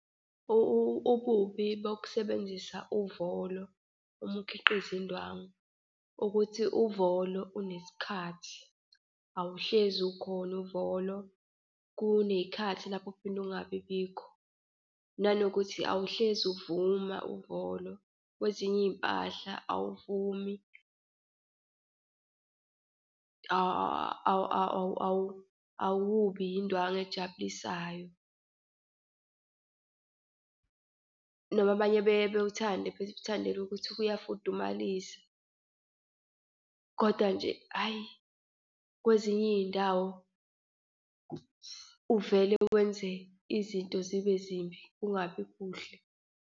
Ububi bokusebenzisa uvolo uma ukhiqizo indwangu ukuthi uvolo unesikhathi, awuhlezi ukhona uvolo, kuney'khathi lapho ophinda ungabibikho. Nanokuthi awuhlezi uvuma uvolo. Kwezinye iy'mpahla awuvumi, awubi indwangu ejabulisayo. Noma abanye beye bewuthande bewuthandela ukuthi uyafudumalisa, koda nje hhayi, kwezinye iy'ndawo uvele wenze izinto zibe zimbi kungabi kuhle.